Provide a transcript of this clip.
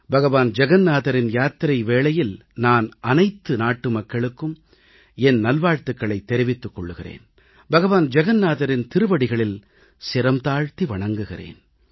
பகவான் ஜகன்நாதரின் யாத்திரை வேளையில் நான் அனைத்து நாட்டுமக்களுக்கும் என் நல்வாழ்த்துக்களைத் தெரிவித்துக் கொள்கிறேன் பகவான் ஜகன்நாதரின் திருவடிகளில் சிரம் தாழ்த்தி வணங்குகிறேன்